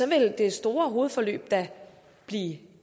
vil det store hovedforløb da blive